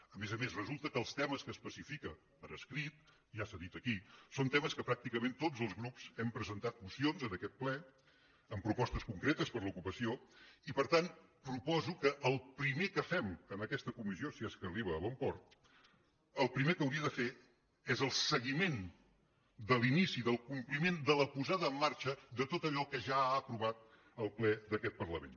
a més a més resulta que els temes que especifica per escrit ja s’ha dit aquí són temes que pràcticament tots els grups hem presentat mocions en aquest ple amb propostes concretes per a l’ocupació i per tant proposo que el primer que fem en aquesta comissió si és que arriba a bon port el primer que hauria de fer és el seguiment de l’inici del compliment de la posada en marxa de tot allò que ja ha aprovat el ple d’aquest parlament